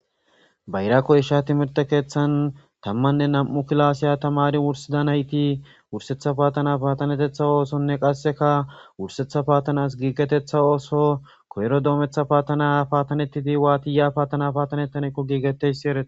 bayra koysha timirte keeththan tammanne nam'u kilasiya tamari wursida nayti wursetha paatana paatanetetha oosonne qasseka wursetha paatanas giigetetha ooso koyro doometha paatana paatanettidi waati yiya paatana paatanettanekko giigetessi eree